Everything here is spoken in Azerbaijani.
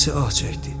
Rəfiqəsi ah çəkdi.